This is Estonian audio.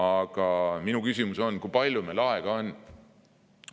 Aga minul on küsimus, kui palju meil aega on.